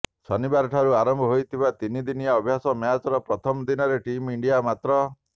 ଶନିବାରଠାରୁ ଆରମ୍ଭ ହୋଇଥିବା ତିନି ଦିନିଆ ଅଭ୍ୟାସ ମ୍ୟାଚର ପ୍ରଥମ ଦିନରେ ଟିମ୍ ଇଣ୍ଡିଆ ମାତ୍ର